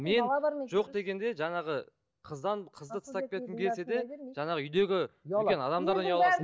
мен жоқ дегенде жаңағы қыздан қызды тастап кеткім келсе де жаңағы үйдегі үлкен адамдардан ұяласың